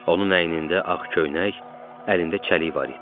Onun əynində ağ köynək, əlində çəlik var idi.